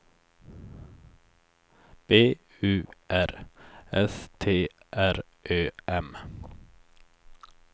B U R S T R Ö M